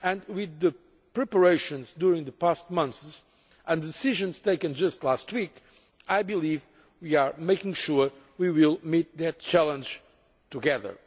With the preparations during the past months and the decisions taken just last week we are ensuring that we will meet that challenge together.